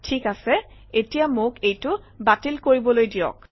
ঠিক আছে এতিয়া মোক এইটো বাতিল কৰিবলৈ দিয়ক